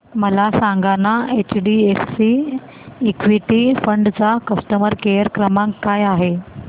मला सांगाना HDFC equity fund चा कस्टमर केअर क्रमांक काय आहे